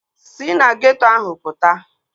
Sị na geeto ahụ pụta